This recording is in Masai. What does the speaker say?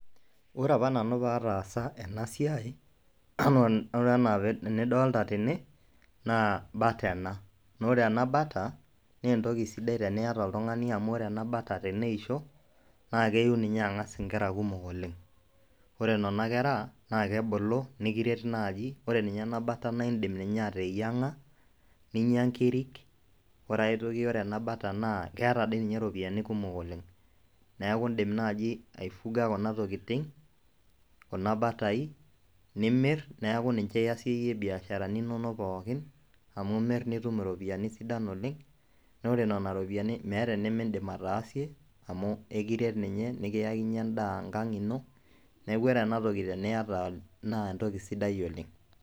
ore apa nanu pee ataasa ena siai. oree anaa enidoolta tene naa bata ena. naa ore ena bata naa entoki sidai teniyata oltungani, amu ore ninye teneisho, naa keyiu ninye angas inkera, kumok oleng. ore nena kera naa kebulu nikiret naaji. ore ninye ena bata naa idim ninye ateyianga, ninyia nkiriik. ore ae toki ore ena bata, naa keeta dii ninye iropiyiani kumok oleng. neeku idim naaji aifuga kuna tokitin, kuna batai, nimir neeku ninye iasayie ibiasharani inonok pookin. amu imir nitum iropiyiani sidan oleng. naa ore nena ropiyiani meeta enimidim ataasie amu ekiret ninye, nikiyakinyie edaa enkang ino. neeku ore ena toki teniata naa entoki sidai oleng.